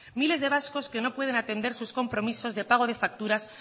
miles de vascos que no puede atender sus compromisos de pago de facturas